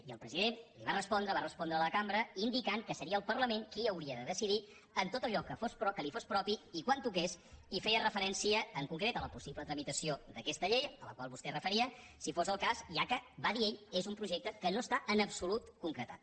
i el president li va respondre va respondre a la cambra indicant que seria el parlament qui hauria de decidir en tot allò que li fos propi i quan toqués i feia referència en concret a la possible tramitació d’aquesta llei a la qual vostè es referia si fos el cas ja que va dir ell és un projecte que no està en absolut concretat